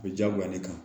O bɛ diyagoya ne kan